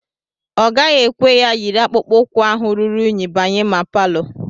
Ọ gaghị ekwe ka iyiri akpụkpọ ụkwụ ahụ ruru unyi banye ma palọ